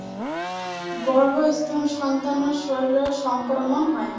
গৰ্ভস্থ সন্তানৰ শৰীৰলৈও সংক্ৰমন হয়।